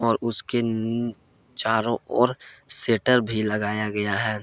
और उसके चारों ओर शटर भी लगाया गया है।